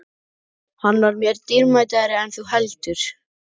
Hann var mér dýrmætari en þú heldur.